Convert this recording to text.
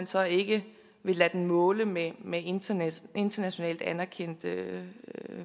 så ikke vil lade den måle med med internationalt internationalt anerkendte